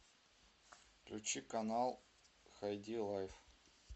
включи канал хайди лайф